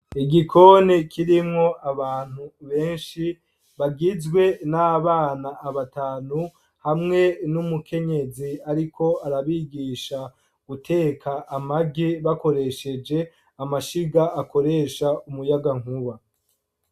Igikoni, kirimwo abantu benshi, bagizwe n'abana, abatanu, hamwe n'umukenyezi, ariko arabigisha guteka amagi, bakoresheje amashiga, akoresha umuyagankuba.